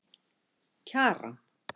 Kjaran